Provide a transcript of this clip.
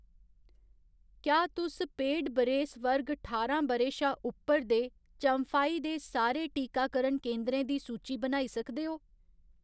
क्या तुस पेड बरेस वर्ग ठारां ब'रे शा उप्पर दे चम्फाई दे सारे टीकाकरण केंदरें दी सूची बनाई सकदे ओ ?